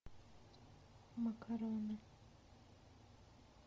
макароны